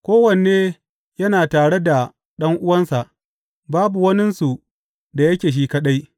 Kowanne yana tare da ɗan’uwansa; babu waninsu da yake shi kaɗai.